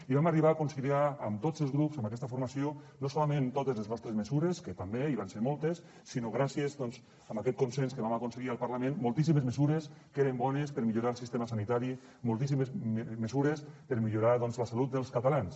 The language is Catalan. i vam arribar a conciliar amb tots els grups amb aquesta formació no solament totes les nostres mesures que també i van ser moltes sinó gràcies doncs a aquest consens que vam aconseguir al parlament moltíssimes mesures que eren bones per millorar el sistema sanitari moltíssimes mesures per millorar doncs la salut dels catalans